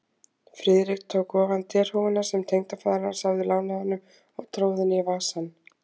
Friðrik tók ofan derhúfuna, sem tengdafaðir hans hafði lánað honum, og tróð henni í vasann.